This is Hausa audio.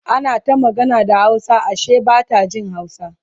ana ta magana da hausa Ashe Bata Jin hausa